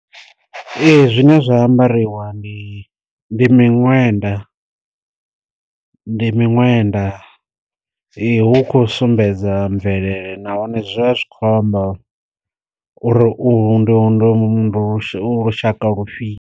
Ee zwine zwa ambariwa ndi ndi miṅwenda, ndi miṅwenda hu kho sumbedza mvelele nahone zwa zwi khou amba uri u ndu ndu u lushaka lufhio.